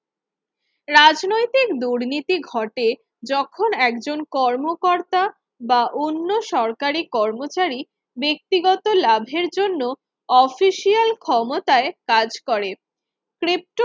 রাজনৈতিক দুর্নীতি ঘটে যখন একজন কর্মকর্তা বা অন্য সরকারি কর্মচারী ব্যক্তিগত লাভের জন্য অফিসিয়াল ক্ষমতায় কাজ করে ক্রিপ্ত